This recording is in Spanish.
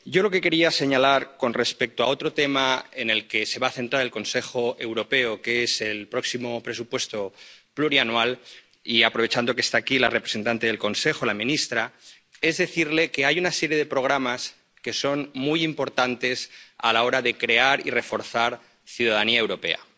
Yo quería señalar con respecto a otro tema, en el que se va a centrar el Consejo Europeo, el próximo marco financiero plurianual, aprovechando que está aquí la representante del Consejo, la ministra, que hay una serie de programas que son muy importantes a la hora de crear y reforzar la ciudadanía europea.